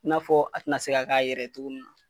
I n'a fɔ a ti na se ka k'a yɛrɛ ye togo min na.